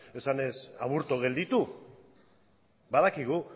esanez aburto gelditu badakigu